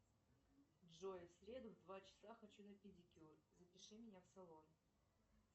джой в среду в два часа хочу на педикюр запиши меня в салон